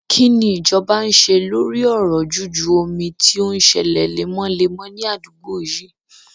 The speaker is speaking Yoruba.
Kí ni ìjọba ń ṣe lórí ọ̀rọ̀ juju omi tí ó ń sẹlẹ̀ lemọ́lemọ́ ní àdúgbò yíì?